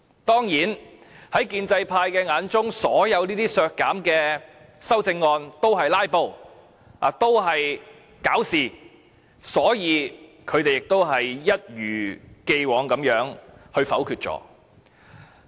當然，在建制派眼中，所有削減撥款的修正案均是"拉布"和"搞事"，所以，他們一如既往地否決。